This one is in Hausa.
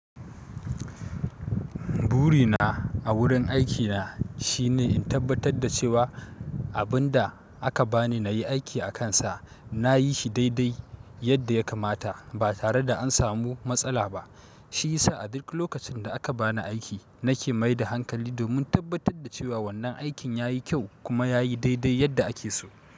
Burina a wurin aikina shine in tabbatar da cewa abin da aka bani na yi aiki akansa na yi shi daidai yadda ya kamata ba tare da an samu matsala ba. Shi sa a duk lokacin da aka ba ni aiki, nake mai da hankali domin tabbatar da cewa wannan aikin ya yi kyau kuma ya yi daidai yadda ake so.